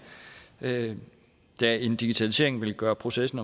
da en digitalisering vil gøre processen